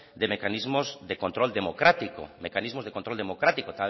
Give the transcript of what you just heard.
de mecanismos de control democrático